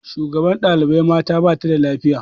Shugabar ɗaibai mata bata da lafiya